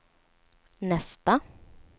nästa